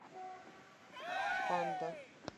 панда